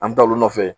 An bɛ taa olu nɔfɛ